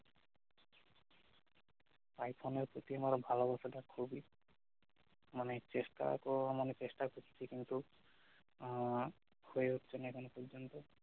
iPhone এর প্রতি আমার ভালবাসাটা খুবই মানে চেষ্টা তো মানে চেষ্টা করছি কিন্তু আহ হয়ে উঠছে না এখনো পর্যন্ত